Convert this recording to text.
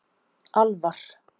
Alvar